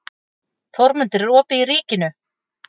Þórmundur, er opið í Ríkinu?